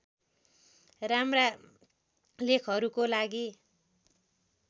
राम्रा लेखहरूको लागि